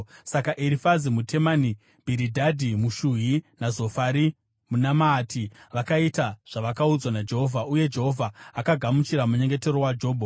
Saka Erifazi muTemani, Bhiridhadhi muShuhi naZofari muNamaati vakaita zvavakaudzwa naJehovha; uye Jehovha akagamuchira munyengetero waJobho.